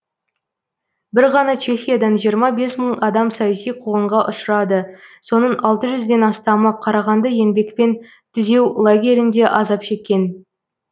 бір ғана чехиядан жиырма бес мың адам саяси қуғынға ұшырады соның алты жүзден астамы қарағанды еңбекпен түзеу лагерінде азап шеккен